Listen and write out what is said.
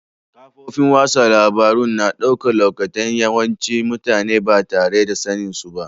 Kafofin wasan labaru ya na daukan lokatai'n yawancin mutane ba tare da sanin su ba.